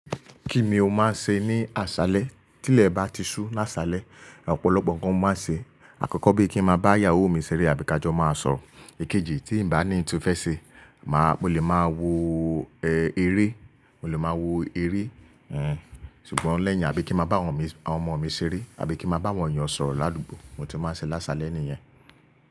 Kíni ó máa ń ṣe ní aṣálẹ? Tí ilẹ̀ bá ti sú láṣálẹ, ọ̀pọ̀lọpọ̀ nǹkan mo máa ṣe. Àkọ́kọ́ bí i kí n máa bá ìyàwó mi ṣeré àbí ka jọ máa sọ̀rọ̀. Èkejì tí ń bá ní ń tu fẹ́ ṣe, màá, mo lè máa wo eré, mo lè máa wo eré, ẹh, ṣùgbọ́n lẹ́yìn àbí kí máa bá àwọn ọmọ mi ṣeré àbí kí máa bá àwọn èèyàn sọ̀rọ̀ ládùúgbò nkan ti máa ń ṣe lásalẹ̀ nìyẹn.